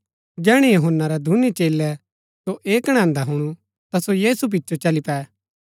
जैहणै यूहन्‍ना रै दूनी चेलै सो ऐह कणैन्दा हुणु ता सो यीशु पिचो चली पै